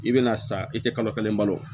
I bɛna san i tɛ kalo kelen balo o